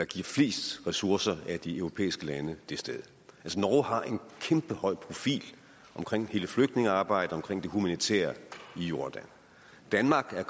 giver flest ressourcer af de europæiske lande det sted norge har en kæmpehøj profil omkring hele flytningearbejdet omkring det humanitære i jordan danmark er